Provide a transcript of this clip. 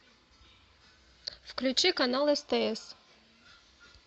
включи канал стс